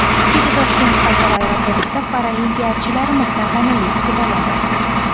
Kecha Toshkent xalqaro aeroportida paralimpiyachilarimiz tantanali kutib olindi.